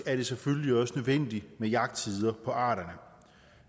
er det selvfølgelig også nødvendigt med jagttider på arterne